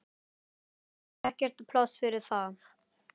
Það er ekkert pláss fyrir það.